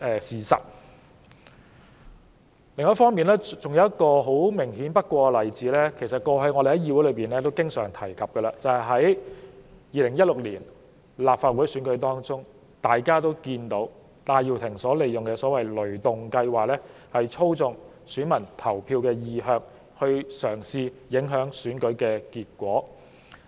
此外，還有一個明顯不過的例子，我們過往亦經常在議會內提出，就是在2016年的立法會選舉中，大家也看到戴耀廷利用所謂的"雷動計劃"，操縱選民投票意向，試圖影響選舉結果。